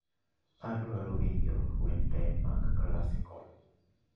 Adwaro winjo wende mag classical